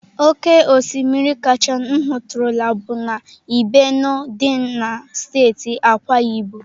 Oke osimiri kacha m hụtụrụla bụ na ibeno dị na steeti Akwa Ibom.